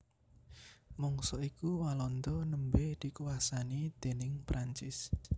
Mangsa iku Walanda nembé dikuwasani déning Prancis